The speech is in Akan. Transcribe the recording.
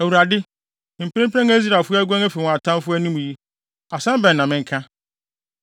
Awurade, mprempren a Israelfo aguan afi wɔn atamfo anim yi, asɛm bɛn na menka?